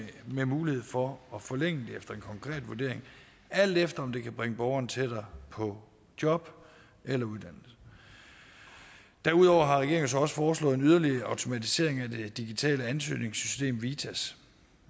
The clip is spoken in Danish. med mulighed for at forlænge efter en konkret vurdering alt efter om det kan bringe borgeren tættere på job eller uddannelse derudover har regeringen så også foreslået en yderligere automatisering af det digitale ansøgningssystem vitas